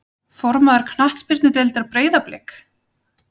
Formaður knattspyrnudeildar Breiðablik?